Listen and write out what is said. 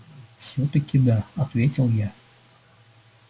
всё-таки да ответил я